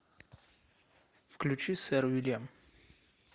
включи сэр уильям